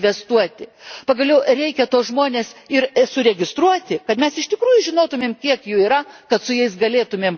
Pagaliau, reikia tuos žmones ir suregistruoti, kad mes iš tikrųjų žinotume kiek jų yra, kad su jais galėtume dirbti.